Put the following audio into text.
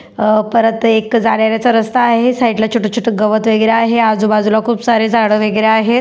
अ परत एक जाण्या येण्याचा रस्ता आहे साईड ला छोटं छोटं गवत वगैरे आहे आजू बाजूला खूप सारे झाडं वगैरे आहे.